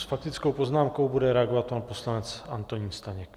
S faktickou poznámkou bude reagovat pan poslanec Antonín Staněk.